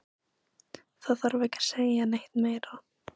Það þarf ekki að segja neitt meira.